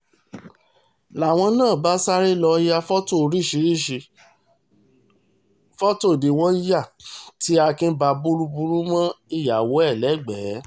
làwọn náà bá sáré lọ́ọ́ ya fọ́tò oríṣiríṣiì fọ́tò ni wọ́n yà tí akin bá burúburú mọ ìyàwó ẹ̀ lẹ́gbẹ̀ẹ́